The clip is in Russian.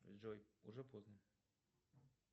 джой уже поздно